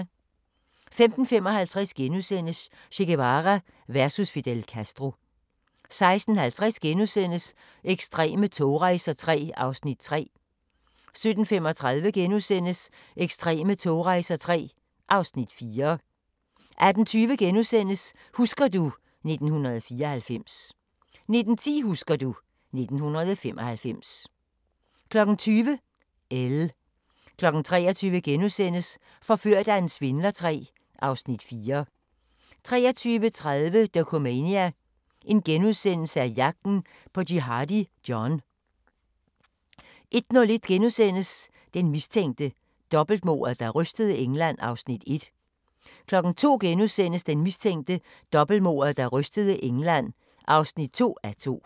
15:55: Che Guevara versus Fidel Castro * 16:50: Ekstreme togrejser III (Afs. 3)* 17:35: Ekstreme togrejser III (Afs. 4)* 18:20: Husker du ... 1994 * 19:10: Husker du ... 1995 20:00: Elle 23:00: Forført af en svindler III (Afs. 4)* 23:30: Dokumania: Jagten på Jihadi John * 01:01: Den mistænkte – dobbeltmordet, der rystede England (1:2)* 02:00: Den mistænkte – dobbeltmordet der rystede England (2:2)*